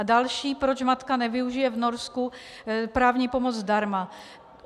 A další: proč matka nevyužije v Norsku právní pomoc zdarma.